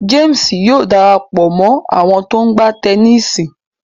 James Yóò darapọ mọ àwọn to ńgba Tẹníìsì.